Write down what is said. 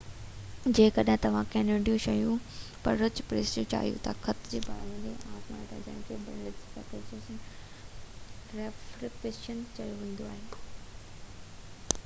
جيڪڏھن توھان ڪجهه ننڍيون پر رچ پيسٽريون چاهيو ٿا خطي تي ڀاڙيندي آزمايو جن کي برلينر فينڪوچين ريفپين چيو ويندو آهي